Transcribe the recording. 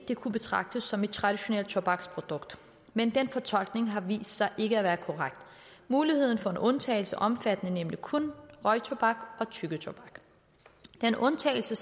det kunne betragtes som et traditionelt tobaksprodukt men den fortolkning har vist sig ikke at være korrekt muligheden for en undtagelse omfattede nemlig kun røgtobak og tyggetobak den undtagelse